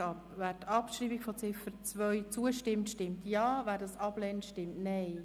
Wer der Abschreibung von Ziffer 2 zustimmt, stimmt Ja, wer dies ablehnt, stimmt Nein.